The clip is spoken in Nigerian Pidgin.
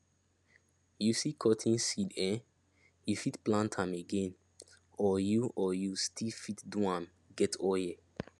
you see cotton seed eh you fit plant am again or you or you still fit do am get oil